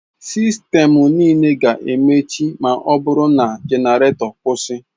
Sistemụ niile ga-emechi ma ọ bụrụ na genareto kwụsị.